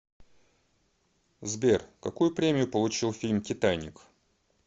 сбер какую премию получил фильм титаник